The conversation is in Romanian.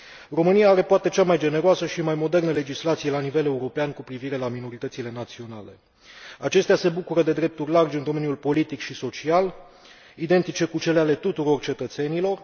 România are poate cea mai generoasă și mai modernă legislație la nivel european cu privire la minoritățile naționale. Acestea se bucură de drepturi largi în domeniul politic și social, identice cu cele ale tuturor cetățenilor